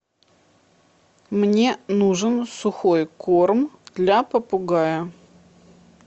мне нужен сухой корм для попугая